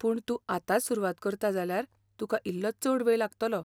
पूण तूं आतांच सुरवात करता जाल्यार तुका इल्लो चड वेळ लागतलो.